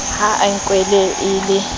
ha e nkwe e le